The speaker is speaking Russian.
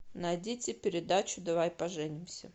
найдите передачу давай поженимся